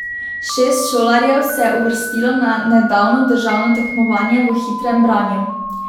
Šest šolarjev se je uvrstilo na nedavno državno tekmovanje v hitrem branju.